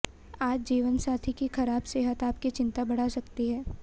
आज जीवनसाथी की खराब सेहत आपकी चिंता बढ़ा सकती है